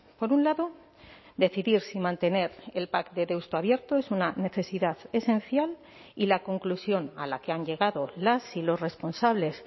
por un lado decidir si mantener el pac de deusto abierto es una necesidad esencial y la conclusión a la que han llegado las y los responsables